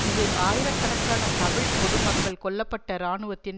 இது ஆயிரக்கணக்கான தமிழ் பொது மக்கள் கொல்ல பட்ட இராணுவத்தின்